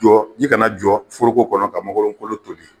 Jɔ ji kana jɔ foroko kɔnɔ ka mangorokolo toli